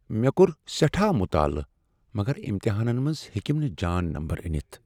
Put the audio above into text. مےٚكور سیٹھاہ مطالعہٕ مگر امتحانن منٛز ہیٚکِم نہٕ جان نمبر انِتھ ۔